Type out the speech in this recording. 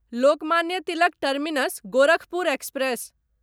Lokmanya Tilak Terminus Gorakhpur express